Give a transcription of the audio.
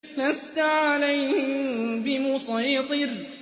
لَّسْتَ عَلَيْهِم بِمُصَيْطِرٍ